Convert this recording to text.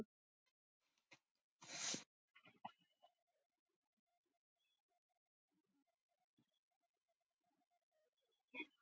Við völdum hugarvílið, enn um stund.